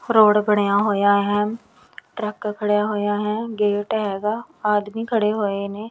Road ਬਣਿਆ ਹੋਇਆ ਹੈ ਟਰੱਕ ਖੜਿਆ ਹੋਇਆ ਹੈ ਗੇਟ ਹੈਗਾ ਆਦਮੀ ਖੜੇ ਹੋਏ ਨੇ।